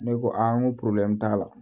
Ne ko a n ko t'a la